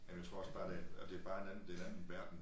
Jamen jeg tror også bare det og det bare en anden det en anden verden